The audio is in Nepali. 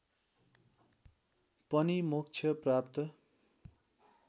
पनि मोक्ष प्राप्त